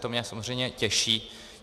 To mě samozřejmě těší.